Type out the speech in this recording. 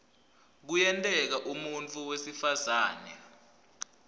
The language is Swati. kuyenteka umuntfu wesifazane